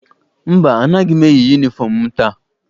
Mba, anaghị m eyi yunifọm m taa.